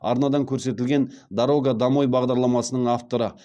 арнадан көрсетілген дорога домой бағдарламасының авторы